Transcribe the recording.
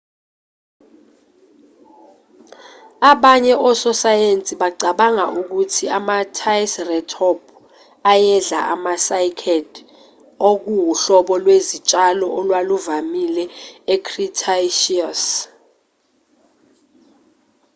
abanye ososayensi bacabanga ukuthi ama-ticeratop ayedla ama-cycad okuwuhlobo lwezitshalo olwaluvamile e-cretaceous